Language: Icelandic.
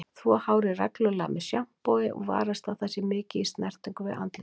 Þvo hárið reglulega með sjampói og varast að það sé mikið í snertingu við andlitið.